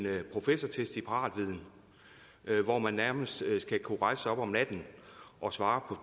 professortest i paratviden hvor man nærmest skal kunne rejse sig op om natten og svare på